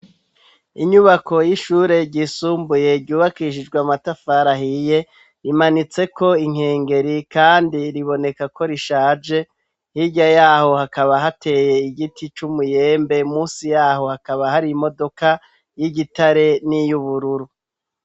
Inyubako y'ishure ryisumbuye ryubakishijwe amatafari ahiye, rimanitse ko inkengeri kandi riboneka ko rishaje hirya yaho hakaba hateye igiti cy'umuyembe munsi yaho hakaba hari imodoka y'igitare n'iy'ubururu.